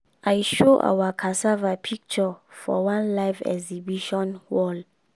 i show our cassava picture for one live exhibition wall.